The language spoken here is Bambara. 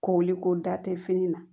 Koli ko da tɛ fini na